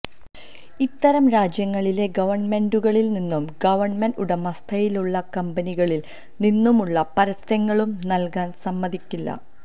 ഇത്തരം രാജ്യങ്ങളിലെ ഗവൺമെന്റുകളിൽ നിന്നും ഗവൺമെന്റ് ഉടമസ്ഥതയിലുള്ള കമ്പനികളിൽ നിന്നുമുള്ള പരസ്യങ്ങളും നൽകാൻ സമ്മതിക്കില്ല